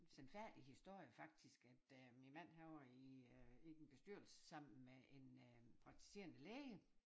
Sandfærdig historie faktisk at øh min mand han var i øh i en bestyrelse sammen med en øh praktiserende læge